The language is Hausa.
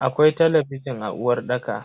Akwai talabijin a uwarɗaka.